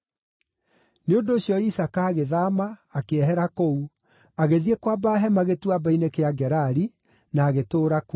Nĩ ũndũ ũcio Isaaka agĩthaama, akĩehera kũu, agĩthiĩ kwamba hema Gĩtuamba-inĩ kĩa Gerari, na agĩtũũra kuo.